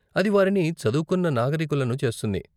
అది వారిని చదువుకున్న నాగరీకులను చేస్తుంది.